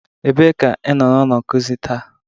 Ebee ka ịnọ na ụlọ nkuzi taa?